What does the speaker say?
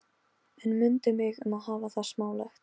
En mundu mig um að hafa það smálegt.